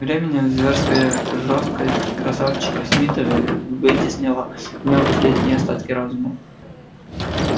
тем временем зверская жестокость красавчика смита вытеснила в нём последние остатки разума